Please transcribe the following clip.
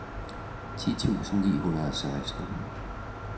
ti tusind ni hundrede og seksten